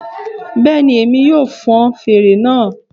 Bẹ́ẹ̀ ni, èmi yóò fọn fèrè náà